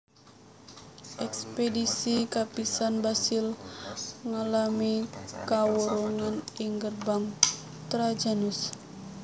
Ekspedisi kapisan Basil ngalami kawurungan ing Gerbang Trajanus